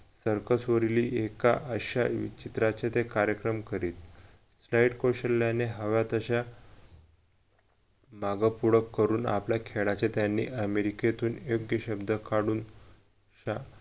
circus वरील ते एका अश्या चित्राचे कार्यक्रम करीत right कौशल्याने हव्या तश्या माग पूढ करून आपल्या खेळाचे त्यानी अमेरिकेतून शब्द काढून अशा